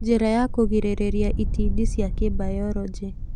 Njĩra ya kũgirĩrĩria itindiĩ cia kĩbayoronjĩ